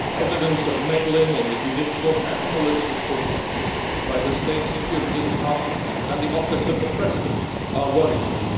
Evidence of meddling in the judicial and political processes by the State Security Department and the Office of the President are worrying.